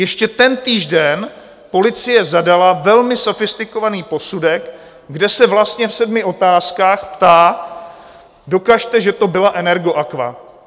Ještě tentýž den policie zadala velmi sofistikovaný posudek, kde se vlastně v sedmi otázkách ptá: Dokažte, že to byla Energoaqua.